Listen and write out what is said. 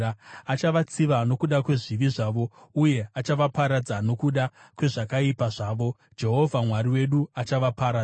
Achavatsiva nokuda kwezvivi zvavo, uye achavaparadza nokuda kwezvakaipa zvavo; Jehovha Mwari wedu achavaparadza.